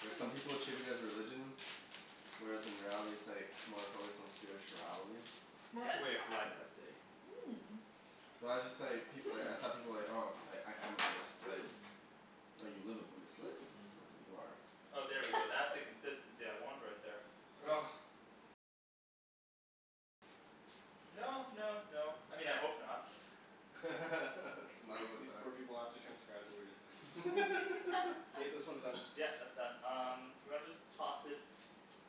Like some people treat it as religion whereas in reality it's like more focused on spirituality. It's more of a way of life, I'd say. Mmm. Well I just like, people y- I thought people like, "Oh, I Hmm. am a Buddhist," like Hmm. "No, you live a Buddhist life. Not that you Hmm. are." Oh there we go. That's the consistency I want right there. No no no, I mean I hope not. It smells like These that. poor people have to transcribe the weirdest things. K, this one's done. Yeah, that's done. Um do you wanna just toss it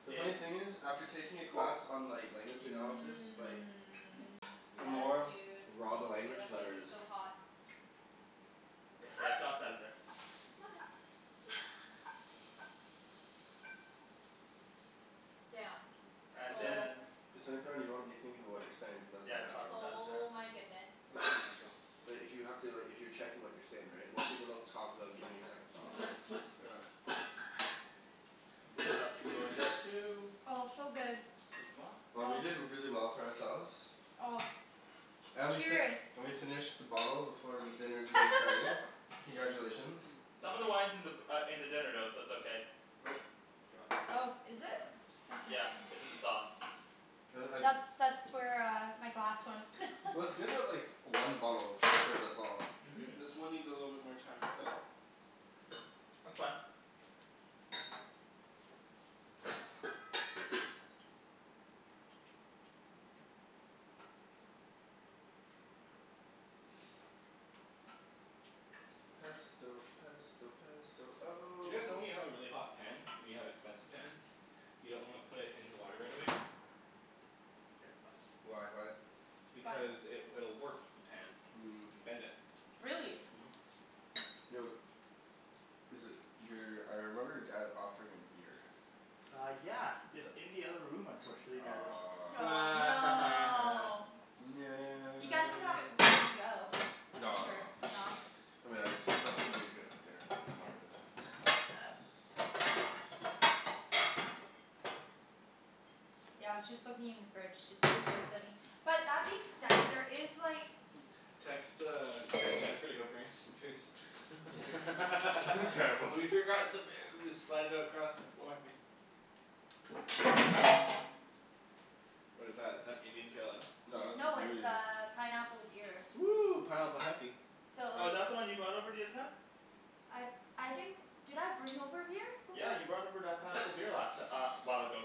The funny in thing is, after taking a class on like language analysis, like Mmm. the Yes more dude. raw the Thank you. language, the That's gonna better be it is. so hot. Yeah, toss Hot! that in there. Mother Damn. And Oh. then you wanna be thinking about what you're saying cuz that's Yeah, not toss natural. that in there. Oh my goodness. It's all natural. But if you have to, like if you're checking what you're saying right, most people don't talk without giving it a second thought, right? This stuff can go in there too. Oh it's so good. 'scuzez moi. Oh we did really well for ourselves. Oh. And we fi- Cheers. we finished the bottle before dinner's even started. Congratulations. Some of the wine's in the b- uh in the dinner though, so it's okay. Nope. You dropped the chicken. Oh, is Would you it? mind? Yeah. It's in the sauce. Like That's I that's where uh my glass went. Well, it's good that like one bottle us all. Mhm. Great. This one needs a little bit more time to cook. That's fine. Pesto pesto pesto Do oh you guys know when you have a really hot pan and you have expensive pans you don't wanna put it in the water right away? Get some. Why, why? Why? Because it will warp the pan. Mmm. And bend it. Really? Mhm. Yo Is it, your, I remember your dad offering a beer. Uh yeah. It's in the other room unfortunately now though. Aw. Aw, no! You guys can have No! it before you go. I'm No sure, no. no. I mean I just see something that'd be good with dinner. That's all. Fuck yeah. Yeah, I was just looking in the fridge to see if there is any. But that being said, there is like Text the, text Jennifer to go bring us some booze. That's terrible. We forgot the booze! Slide it across the floor. What is that, is that Indian Pale Ale? No this is No it's Moody. uh pineapple beer. Woo! Pineapple heffy. So Oh is like that the one you brought over the other time? I I didn't Did I bring over a beer before? Yeah you brought over that pineapple beer last ti- uh a while ago.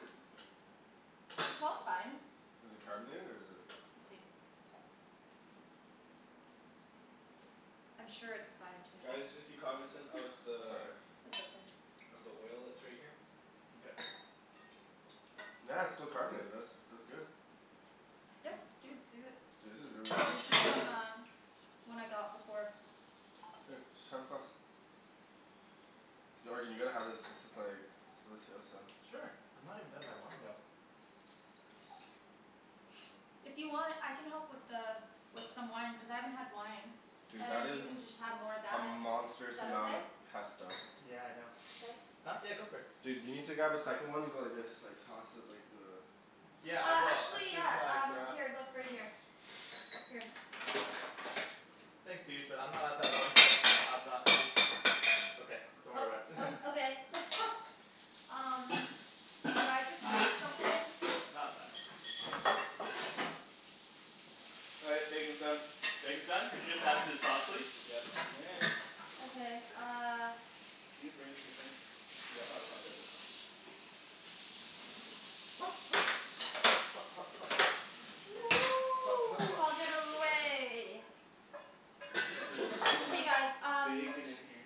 Let me see. It smells fine. Is it carbonated or is it We'll see. I'm sure it's fine to Guys just be cognizant of the Sorry. That's okay. of the oil that's right here. Okay. Yeah, it's still carbonated, this. That's good. Yep dude, do it. Dude this is really It was tasty. just on the One I got before. Here, just have a glass. Yo Arjan you gotta have this, this is like delicioso. Sure. I'm not even done my wine though. If you want I can help with the with some wine, cuz I haven't had wine. Dude And that then you is can just have more of a that. monstrous Is that amount okay? of pesto. Yeah I know. Thanks. Huh? Yeah go for it. Dude you need to grab a second one and go like this, like toss it like the Yeah I Uh will, as actually soon as yeah I um, grab here, look, right here. Here. Thanks dude, but I'm not at that point yet, I'm not um Okay. Don't Oh worry about it. uh okay. Um Did I just break something? Nah, it's fine. All right, bacon's done. Bacon's done? Could you just add it to the sauce please? Yes you may. Okay uh Can you bring this to the sink? Yeah, untucker this. Hot hot. Hot hot hot. Hot hot hot. Get out of the way. Wow there's so Hey much guys um bacon in here.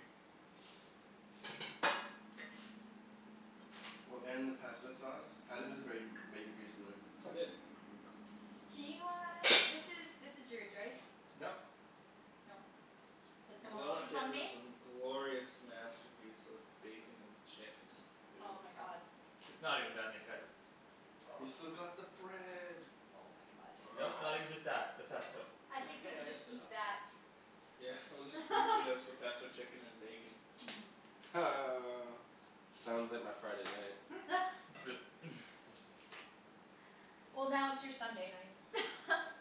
Well, and the pesto sauce. Add a bit of bacon, bacon grease in there. I did. Can you uh, this is, this is yours right? Nope. No. That's someone Look else's at on this me? um glorious masterpiece of bacon and chicken and Oh food. my god. It's not even done yet guys. We've still got the bread. Oh my god. Nope, not even just that. The pesto. I think we could just Pesto. eat that. Yeah, we'll spoon feed us the pesto chicken and bacon. Ha. Sounds like my Friday night. Flip. Well now it's your Sunday night.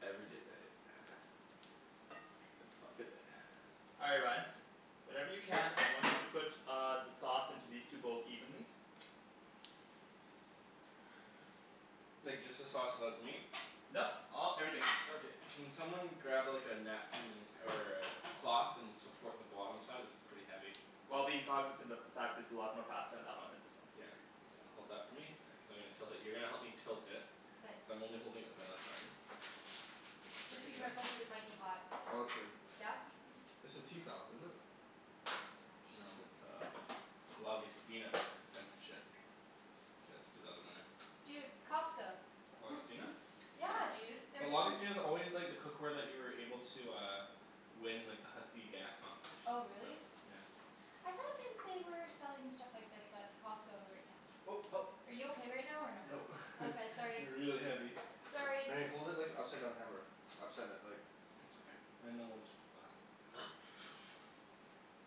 Every day night. It's fuck a day. All right Ryan. Whenever you can, I want you to put uh the sauce into these two bowls evenly. Like just the sauce without the meat? Nope, all, everything. Okay. Can someone grab like a napkin and or a cloth and support the bottom side? This is pretty heavy. While being cognizant of the fact there's a lot more pasta in that one than this one. Yeah. So hold that for me, yeah, cuz I'm gonna tilt it. You're gonna help me tilt it. Cuz K. I'm only holding it with my left arm. Just be careful cuz it might be hot. Oh that's good. Yeah? This is Tefal, isn't it? No it's uh Lagostina. It's expensive shit. K, let's do the other one now. Dude, Costco. Lagostina? Yeah dude, they're But giving Lagostina's always like the cookware that you were able to uh win in like the Husky gas Oh competitions and really? stuff, yeah. I thought that they were selling stuff like this at Costco right now. Oh help. Are you okay right now or no? Nope. Okay, sorry. They're really heavy. Sorry! Wait, hold it like an upside down hammer. Upside d- like It's okay. And then we'll just put the last little bit.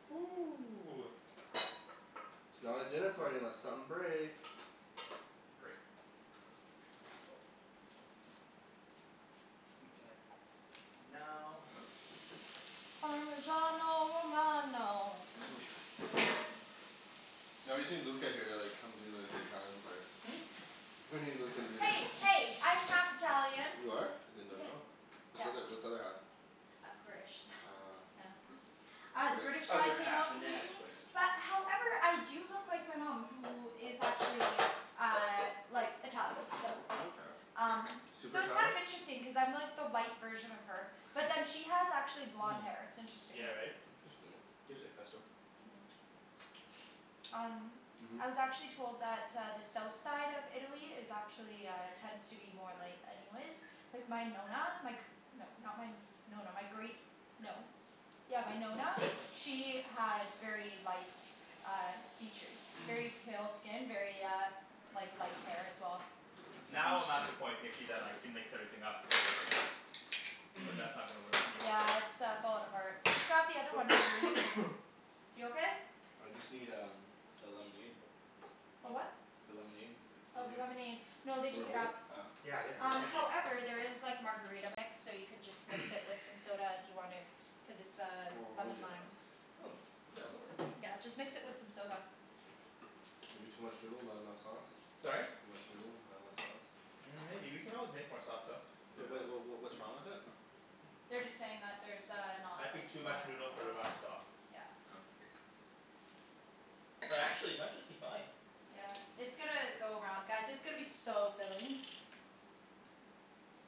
Ooh. It's not a dinner party unless something breaks. Great. Mkay. Now Parmesano romano. No, you see Luca here they're like, come do like the Italian part. Hmm? He's not gonna do this. Hey hey, I'm half Italian. You are? I did not know. Yes. What's the Yes. other what's the other half? Uh British. Ah. Oh. Ah, the British Other side came half out inadequate. But however I do look like my mom, who is actually uh like Italian, so Oh okay. um Super So it's kind Italian? of interesting cuz I'm like the light version of her. Hmm. Yeah, right? Interesting. Tastes like pesto. Hmm. Um Mhm. I was actually told that uh the south side of Italy is actually uh, tends to be more light anyways. Like my Nonna, my gr- No, not my Nonna, my great No. Yeah, my Nonna, she had very light uh features very pale skin, very uh like light hair as well. Now I'm at the point Nikki that I can mix everything up. But that's not gonna work for me. Yeah it's uh falling apart. Just grab the other one that you were using. You okay? I just need um the lemonade. A what? The lemonade? If it's still Oh, the here? lemonade. No Want they me to took it hold it? up. Oh. Yeah, yes please, Um thank you. however there is like margarita mix, so you could just mix it with some soda if you wanted. Cuz it's uh Oh lemon yeah. lime. Hmm. Yeah, that works. Yeah, just mix it with some soda. Maybe too much noodle, not enough sauce? Sorry? Too much noodle, not enough sauce. Mm maybe, we can always make more sauce though. Yeah. Wait what what what what's wrong with it? They're just saying that there's uh I not like think too much kind of noodle for the amount of sau- sauce. Yeah. Oh. But actually it might just be fine. Yeah. It's gonna go around, guys, it's gonna be so filling.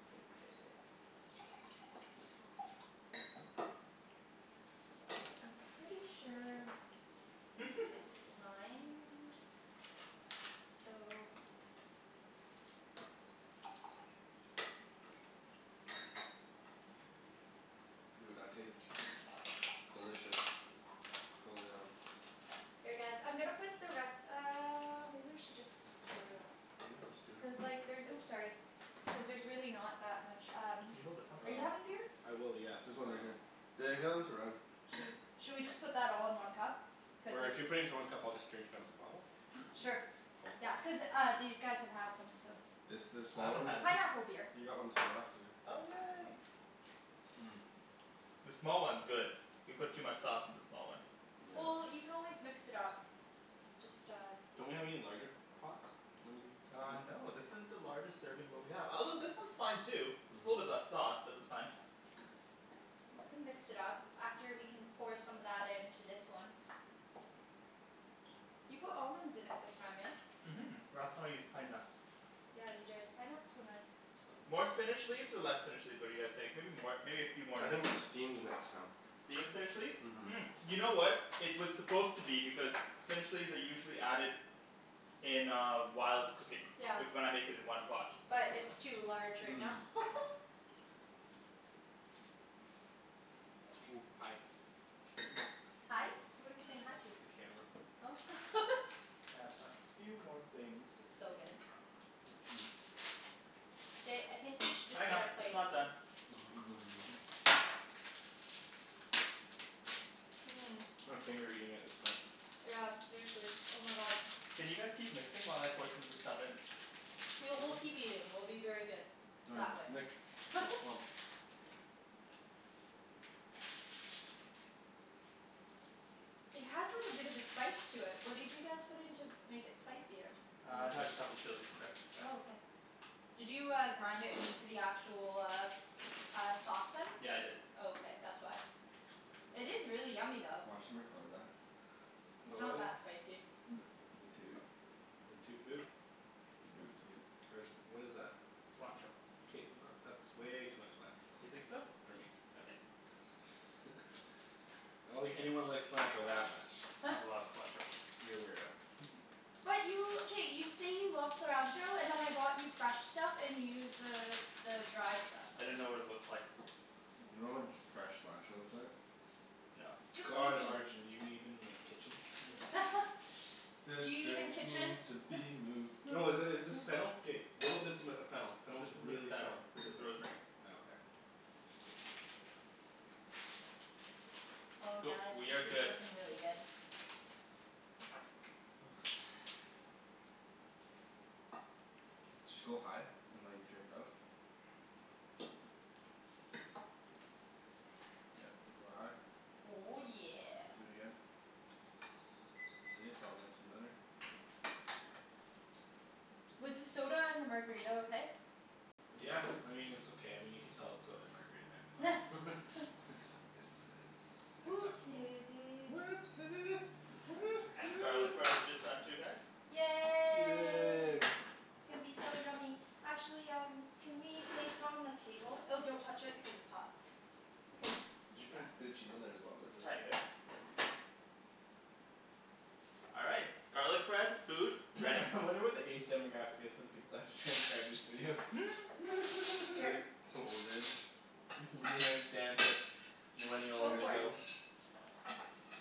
It's gonna be good. I'm pretty sure this is mine. So. Dude, that tastes delicious. Holy hell. Here guys, I'm gonna put the res- um or maybe I should just split it up. Yeah, let's do. Cuz like there's, oops sorry. Cuz there's really not that much um Can you hold this one Are please? you Um having beer? I will, yes, There's um one right here. They're going to run. Cheers. Shall we just put that all in one cup? Cuz Or if if you put it into one cup I'll just drink it out of the bottle. Sure. Oh. Yeah. Cuz uh these guys have had some, so It's this I small haven't one? It's had any. pineapple beer. He got one too, after you. Oh yay. Mmm. The small one's good. We put too much sauce in the small one. Well, Yeah. you can always mix it up. Just uh Don't we have any larger pots? Uh no this is the largest serving bowl we have. Although this one's fine too. Just a little bit Mhm. less sauce, but that's fine. You can mix it up. After we can pour some of that into this one. You put almonds in it this time, eh? Mhm. Last time I used pine nuts. Yeah you did. Pine nuts were nice. More spinach leaves or less spinach leaves, what do you guys think? Maybe more. Maybe a few more I in this think one steamed next time. Steam the spinach leaves? Mhm Mm, you know what It was supposed to be, because spinach leaves are usually added in uh whilst cooking. Yeah. With what I'm making in one pot. But it's too large right now. Mmm. Hi. Hi? What are we saying hi to? The camera. Oh. And a few more things. It's so good. Ba- I think we should just get a it's plate. not done. Mmm. Mmm. I'm finger eating at this point. Yeah seriously, oh my god. Can you guys keep mixing while I pour some of this stuff in? We'll, we'll keep eating. We'll be very good. That Found way. you. Nikks? It has like a bit of a spice to it, what did you guys put in to make it spicier? Uh it has a couple chilis in there. Oh okay. Did you uh grind it into the actual, uh uh sauce then? Yeah I did. Oh okay, that's why. It is really yummy though. Watch 'em record that. It's About not what? that spicy. The the toot. The toot boot? The boot toot. Arjan what is that? Cilantro. K not, that's way too much cilantro. You think so? For me. Okay. I don't think anyone likes cilantro that much. I love cilantro. You're a weirdo. But you, k, you say you love cilantro, and then I bought you fresh stuff and you use the the dry stuff. I didn't know what it looked like. Oh You know my what god. fresh cilantro looks like? No. Just God Arjan, do you even like, kitchen? This Do you even drink kitchen? needs to be moved. No i- is this fennel? K little bits of m- fennel. Fennel This is isn't really fennel. strong. This is rosemary. Oh okay. Oh Cool. guys, We this have is good looking really good. Just go high and like drip it up. Yep. Like, go high. Oh yeah. Do it again. See, it's all mixed and better. Was the soda and the margarita okay? Yeah, I mean it's okay. I mean you can tell it's soda and margarita mix, but. It's it's it's Whoopsie acceptable. daisies. Whoopsie, hoo And the garlic hoo. bread is just done too guys. Yay. Yay. It's gonna be so yummy. Actually um can we place it on the table? Oh don't touch it because it's hot. Cuz, Did you put yeah. a bit of cheese on there as well or is it just Tiny bit. Nice. All right. Garlic bread, food, ready. I wonder what the age demographic is for the people that have to transcribe these videos. Here. some old dude. Mhm. Don't understand it. Millennial Go for it. lingo.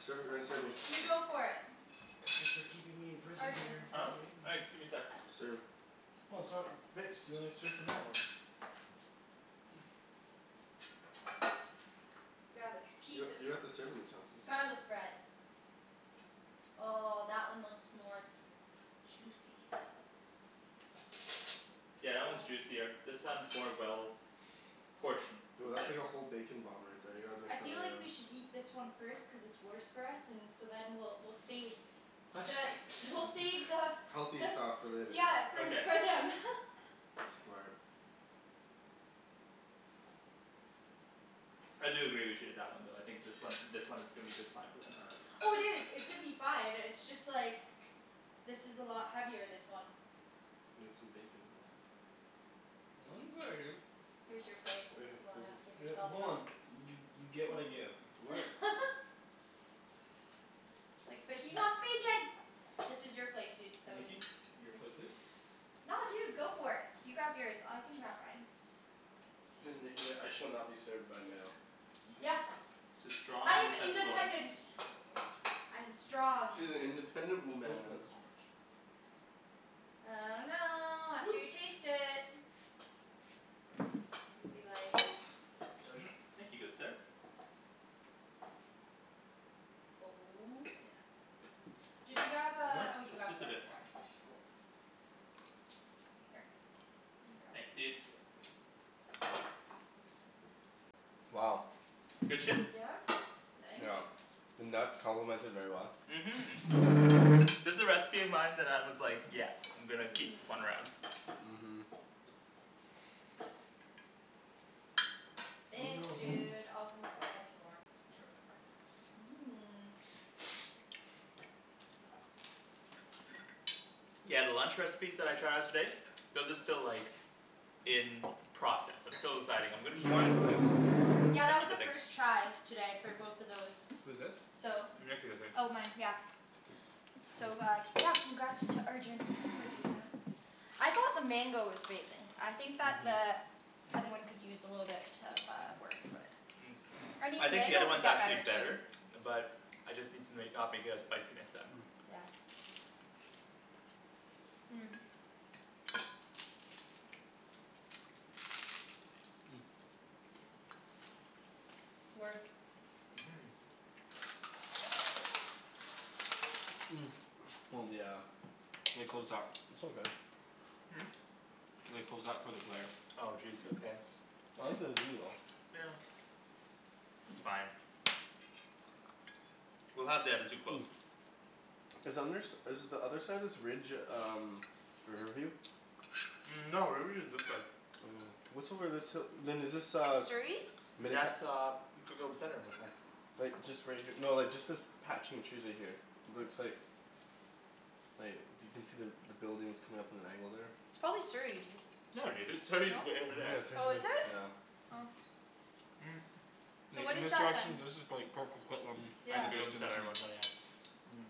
Serve it Ryan, serve me. You go for it. Thanks for keeping me in prison Arjan. dear. Huh? Thanks, give me sec. Serve. Well it's not mixed, you wanna serve from that one. Grab a You piece got of you got the serving utensils. garlic bread. Oh that one looks more juicy. Yeah, that one's juicier. This one's more well portioned. Yo that's like a whole bacon bomb right there, you gotta mix I that feel one like up. we should eat this one first cuz it's worse for us, and so then we'll we'll save the, we'll save the Healthy But stuff for later. Yeah for, Okay. for them. Smart. I do agree with you on that one though, I think this one this one is gonna be just fine for them. All right. Oh dude, it's gonna be fine, it's just like this is a lot heavier, this one. Need some bacon with that. Mine's very good. Here's your plate, Right if here, you right wanna here. give yourself hold some. on, you you get what I give. What It's like, but he wants bacon. This is your plate dude, so y- Nikki? Your plate please. No dude, go for it. You grab yours. I can grab mine. Nikki's like "I shall not be served by a male." Yes. She's strong I am independent woman. independent. I am strong. She's an independent I think that's woman. too much. I dunno, after Woo. you taste it. Gonna be like Arjan? Thank you, good sir. Oh snap! Did you grab uh, More? oh you grabbed Just the a other bit more. part. Here. Thanks dude. Wow. Good shit? Yeah. Thank you. The nuts complement it very well. Mhm. This a recipe of mine that I was like, yeah I'm gonna keep this one around. Mhm. Thanks No. dude, I'll come up if I need more. Mmm. Yeah, the lunch recipes that I tried out today those are still like in process. I'm still deciding. I'm gonna Whose keep wine is this? Yeah that was Nikki's a a big first try today for both of those. Who's this? So Nikki I think. Oh mine, yeah. So uh, yeah, congrats to Arjan for doing that. I thought the mango was amazing. I think that the other one could use a little bit uh of work but Mm. I I mean think the other mango could one's get actually better better. too. But I just need to make, not make it as spicy next time. Yeah. Mmm. Work. Mhm. Mmm. Yeah. They closed that. It's all good. Hmm? They closed that for the glare. Oh jeez, okay. I like the view though. Yeah. It's fine. We'll have the other two close. Is under s- is the other side of this ridge um Riverview? Mm no, Riverview is this way. Oh. What's over this hi- then is this uh Surrey? That's uh Coquitlam Center it looked like. Like just right here, no just like this patch in trees right here. Looks like like you can see the buildings coming up at an angle there. It's probably Surrey, dude. No dude, Surrey's No? way over there. Yeah, Surrey's Oh, at, is it? yeah. Oh. Mm So Like what in is this that then? this is prolly like Port Coquitlam in Yeah the just distance and Mm.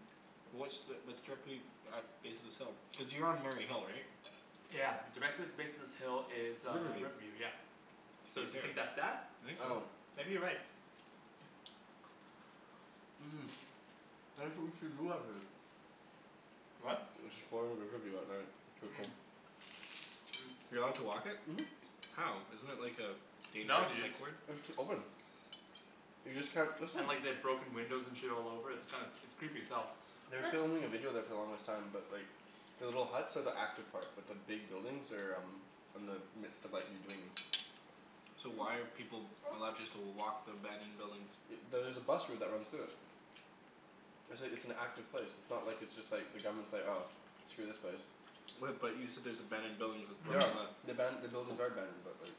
What's the, that's directly at base of this hill? Cuz you're on Mary Hill right? Yeah. Directly at the base of this hill is uh Riverview. Riverview, yeah. So do you think that's that? I think so. Maybe you're right. What? Riverview at night. Mm. You allowed to walk it? Mhm. How? Isn't it like a No dangerous dude. psych ward? It's open. You just can't, that's not And like they've broken windows and shit all over, it's kind of, it's creepy as hell. They were filming a video there for the longest time, but like The little huts are the active part, but the big buildings are um in the midst of like redoing 'em. So why are people allowed just to walk the abandoned buildings? Y- there's a bus route that runs through it. It's a it's an active place. It's not like it's just like, the government's like "Oh, screw this place." What but you said there's abandoned buildings with Mhm. The aban- the buildings are abandoned but like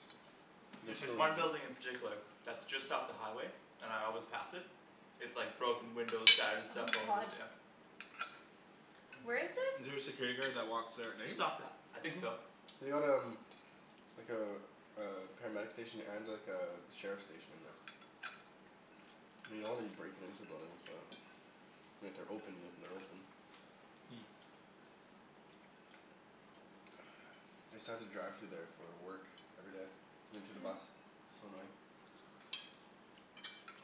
they There's still one building in particular that's just off the highway and I always pass it. It's like broken windows, shattered Oh stuff my all over, god. yeah. Where is Is this? there a security guard that walks there at night? Just off the, I think so. They got um like a a paramedic station and like a sheriff station in there. I mean you don't wanna be breaking into buildings but I mean if they're open, if they're open. Hmm. I used to have to drive through there for uh work. Every day. Into the bus. So annoying.